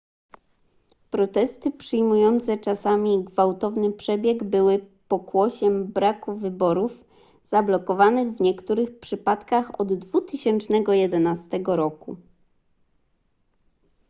protesty przyjmujące czasami gwałtowny przebieg były pokłosiem braku wyborów zablokowanych w niektórych przypadkach od 2011 roku